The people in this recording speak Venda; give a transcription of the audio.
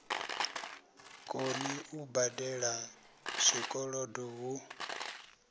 koni u badela zwikolodo hu